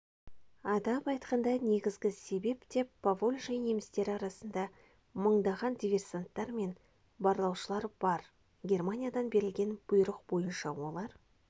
атап айтқанда негізгі себеп деп поволжье немістері арасында мыңдаған диверсанттар мен барлаушылар бар германиядан берілген бұйрық бойынша олар